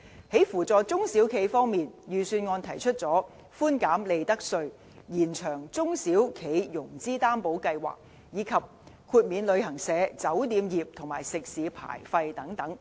在扶助中小企方面，預算案提出寬減利得稅，延長中小企融資擔保計劃，以及豁免旅行社、酒店業和食肆牌費等。